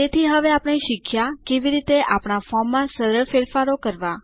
તેથી હવે આપણે શીખ્યા કેવી રીતે આપણા ફોર્મમાં સરળ ફેરફાર કરવા